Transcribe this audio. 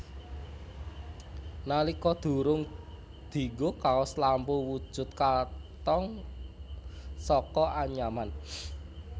Nalika durung dinggo kaos lampu wujud katong saka anyaman